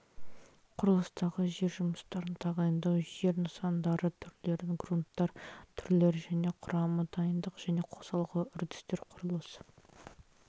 құрылыстағы жер жұмыстарын тағайындау жер нысандары түрлері грунттар түрлері және құрамы дайындық және қосалқы үрдістер құрылыс